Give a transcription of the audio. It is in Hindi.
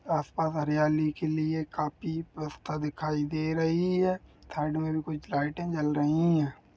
आसपास हरियाली के लिए काफी व्यवस्था दिखाई दे रही है थर्ड में भी कुछ लाईटें जल रही हैं।